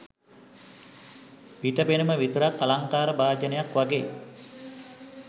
පිට පෙනුම විතරක් අලංකාර භාජනයක් වගේ.